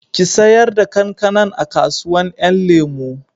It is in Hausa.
Ki sayar da kankanan a kasuwan 'yan lemo